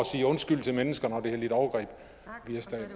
sige undskyld til mennesker